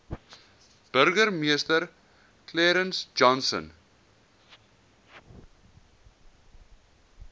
burgemeester clarence johnson